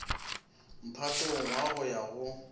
mphatong wo go ya go